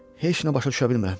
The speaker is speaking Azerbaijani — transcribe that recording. Heç nə başa düşə bilmirəm.